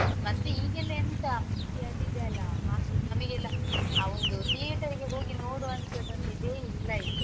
ಮತ್ತೆ ಈಗೆಲ್ಲಾ ಎಂತ ಅದು ಇದೆಯಲ್ಲ ನಮಿಗೆಲ್ಲಾ ಆ ಒಂದು theatre ಗೆ ಹೋಗಿ ನೋಡುವಂತದು ಒಂದ್ ಇದೆ ಇಲ್ಲಾ ಈಗ.